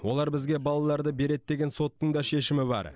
олар бізге балаларды береді деген соттың да шешімі бар